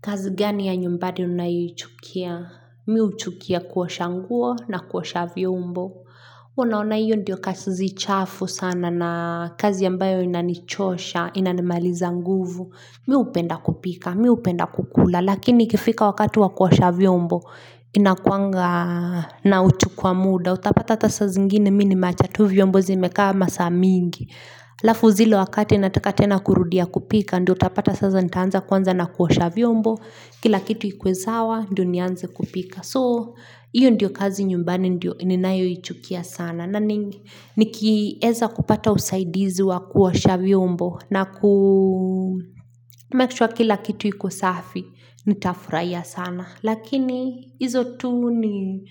Kazi gani ya nyumbani unayoichukia? Mimi huchukia kuosha nguo na kuosha vyombo. Unaona hiyo ndiyo kazi chafu sana na kazi ambayo inanichosha, inanimaliza nguvu. Miupenda kupika, miupenda kukula. Lakini ikifika wakati wa kuosha vyombo, inakuanga na uchu kwa muda. Utapata hata saa zingine mimi nimeacha tu vyombo zimekaa masaa mingi. Alafu zile wakati nataka tena kurudia kupika ndio utapata sasa nitaanza kwanza na kuosha vyombo kila kitu ikue sawa ndio nianze kupika so iyo ndio kazi nyumbani ndio inayoichukia sana nikieza kupata usaidizi wa kuosha vyombo na kumake sure kila kitu iko safi nitafurahia sana lakini hizo tu ni